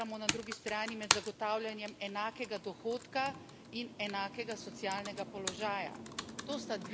In ločiti moramo na drugi strani med zagotavljanjem enakega dohodka in enakega socialnega položaja.